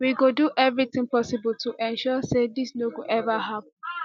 we go do eviritin possible to ensure say dis no go ever happun